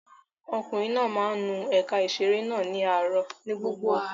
Ọkùnrin náà máa ń nu ẹ̀ka ìṣeré náà ní gbogbo àárọ̀.